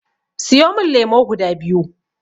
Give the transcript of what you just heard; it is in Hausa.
Siyo min lemo guda biyu.